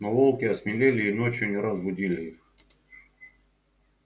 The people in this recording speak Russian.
но волки осмелели и ночью не раз будили их